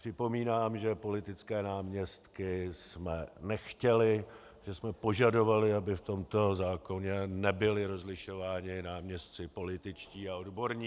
Připomínám, že politické náměstky jsme nechtěli, že jsme požadovali, aby v tomto zákoně nebyli rozlišováni náměstci političtí a odborní.